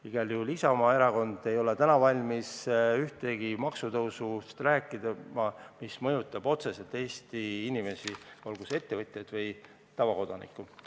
Igal juhul Isamaa Erakond ei ole veel valmis rääkima ühestki maksutõusust, mis mõjutab otseselt Eesti inimesi, olgu ettevõtjaid või tavakodanikke.